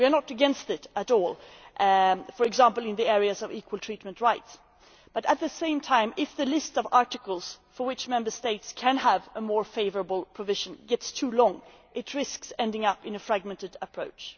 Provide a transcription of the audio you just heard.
We are not against this at all in the area of equal treatment rights, for instance but, at the same time if the list of articles for which Member States can have a more favourable provision becomes too long, it risks ending up in a fragmented approach.